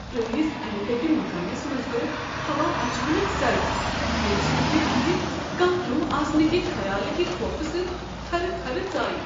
پرٲنس انہِ گٕٹہِ مکانس منٛز گوٚو ہوا اچانک سرد، ییٚمہ سۭتۍ مےٚ اتہ کانٛہہ روح آسنٕکہ خیالہٕ كہِ خوفہٕ سۭتۍ تھرٕ تھرٕ ژایہ۔